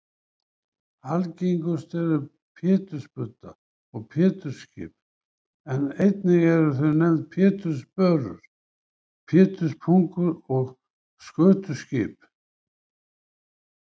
Algengust eru pétursbudda og pétursskip en einnig eru þau nefnd pétursbörur, péturspungur og skötuskip.